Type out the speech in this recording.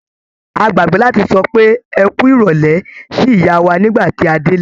A gbàgbé láti sọ pé "ẹ kú ìrọ̀lẹ́" sí ìyá wà nígbà tí a délé.